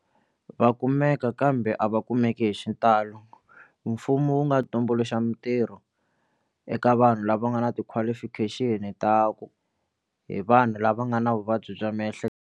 Va kumeka kambe a va kumeki hi xitalo mfumo wu nga tumbuluxa mitirho eka vanhu lava nga na ti-qualification ta ku hi vanhu lava nga na vuvabyi bya miehleketo.